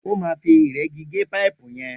O má fi ìregí gé paipu yen